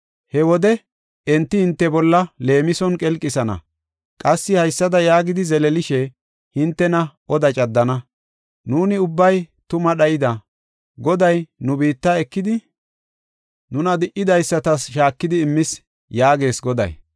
“He wode enti hinte bolla leemison qelqisana; qassi haysada yaagidi zeleelishe hintena oda caddana. ‘Nuuni ubbay tuma dhayida; Goday nu biitta ekidi, nuna di77idaysatas shaakidi immis’ ” yaagees Goday.